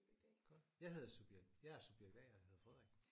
Godt. Jeg hedder subjekt jeg er subjekt A og hedder Frederik